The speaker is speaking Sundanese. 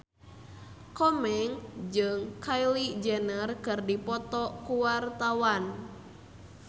Komeng jeung Kylie Jenner keur dipoto ku wartawan